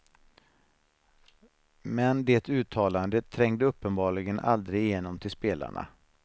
Men det uttalandet trängde uppenbarligen aldrig igenom till spelarna.